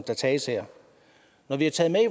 der tages her når vi i